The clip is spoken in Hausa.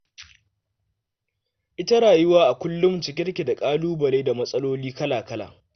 Ita rayuwa a kullum cike take da ƙalubale da matsaloli kala-kala.